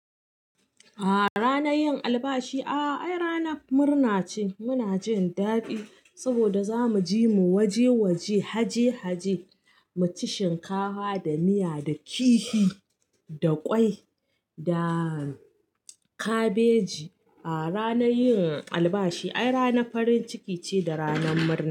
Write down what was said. Ah ranar yin albashi, ai rana murna ce. Muna jin dadi saboda za mu ji mu waje waje, haje haje mu ci shinkafa da miya da kifi da ƙwai da kabeji. Ah ranar yin albashi ai ranan farin ciki ce da ranar murna.